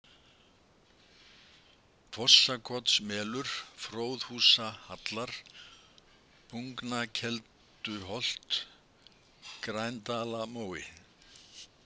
Fossakotsmelur, Fróðhúsahallar, Bungnakelduholt, Grændalamói